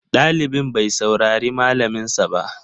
Ɗalibin bai saurari malamin sa ba